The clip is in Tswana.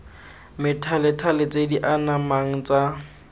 methalethale tse di anamang tsa